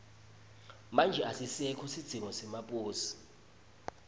manje asisekho sidzingo semaposi